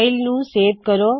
file ਨੂੰ save ਕਰੋ